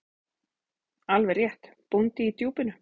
Alveg rétt: Bóndi í Djúpinu.